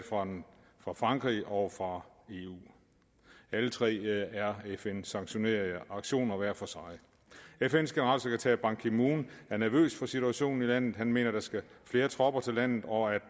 fra frankrig og fra eu alle tre er fn sanktionerede aktioner hver for sig fns generalsekretær ban ki moon er nervøs for situationen i landet han mener at der skal flere tropper til landet og at